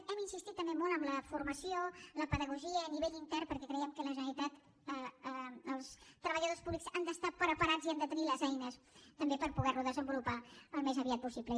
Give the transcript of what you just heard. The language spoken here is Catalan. hem insistit també molt en la formació la pedagogia a nivell intern perquè creiem que la generalitat els treballadors públics han d’estar preparats i han de tenir les eines també per poder lo desenvolupar al més aviat possible